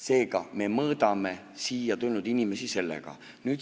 Seega, me mõõdame siia tulnud inimesi sellega.